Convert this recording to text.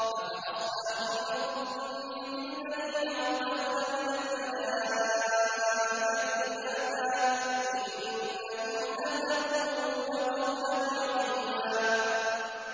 أَفَأَصْفَاكُمْ رَبُّكُم بِالْبَنِينَ وَاتَّخَذَ مِنَ الْمَلَائِكَةِ إِنَاثًا ۚ إِنَّكُمْ لَتَقُولُونَ قَوْلًا عَظِيمًا